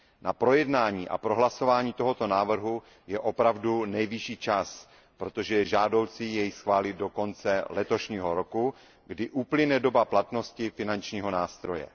Na projednání tohoto návrhu a na hlasování o něm je opravdu nejvyšší čas, protože je žádoucí jej schválit do konce letošního roku, kdy uplyne doba platnosti finančního nástroje.